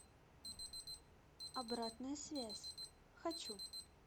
обратная связь хочу